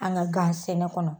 An ga gan sɛnɛ kɔnɔ